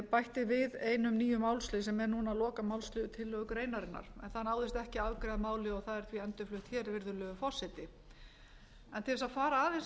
bætti við einum nýjum málslið sem er núna lokamálsliður tillögugreinarinnar en það náðist ekki að afgreiða málið og það er því endurflutt hér virðulegur forseti til þess að fara aðeins